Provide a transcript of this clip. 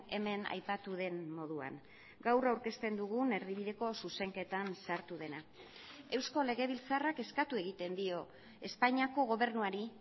hemen aipatu den moduan gaur aurkezten dugun erdibideko zuzenketan sartu dena eusko legebiltzarrak eskatu egiten dio espainiako gobernuari